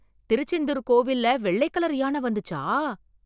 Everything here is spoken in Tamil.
திருச்செந்தூர் கோவில்ல வெள்ளை கலர் யானை வந்துச்சா!